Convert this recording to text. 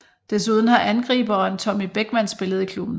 Desuden har angriberen Tommy Bechmann spillet i klubben